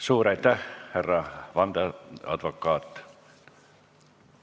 Suur aitäh, härra vandeadvokaat!